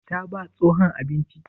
Ta ba tsohon abinci?